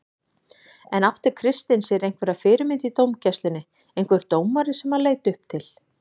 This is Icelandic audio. En átti Kristinn sér einhverja fyrirmynd í dómgæslunni, einhver dómari sem hann leit upp til?